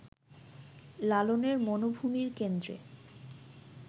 লালনের মনোভূমির কেন্দ্রে